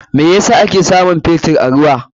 Me yasa ake samun Fetur a ruwa?